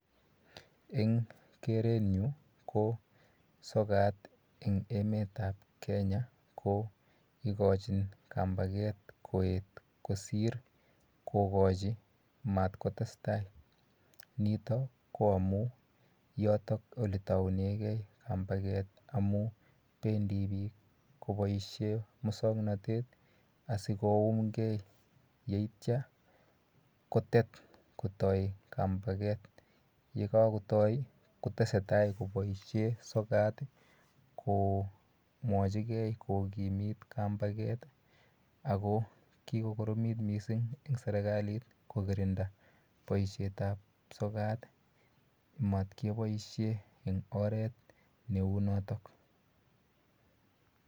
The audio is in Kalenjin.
Eng kerenyu ko sokat eng emetap Kenya ko ikochin kampake koet kosir kokochi mat kotestai. Nito ko amu yotok oletounegei kampaket amu pendi biik koboishe musoknotet asikoumgei yeityo kotet kotoi kampaket yekakotoi kotesetai koboishe sokat komwochigei kokimit kampaket ako kikokoromit mising eng serekalit kokirinda boishetap sokat mat keboishe eng oret neu notok.